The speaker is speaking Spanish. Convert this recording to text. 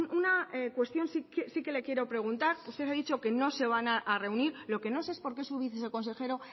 una cuestión sí que le quiero preguntar usted ha dicho que no se van a reunir lo que no sé es porque su viceconsejero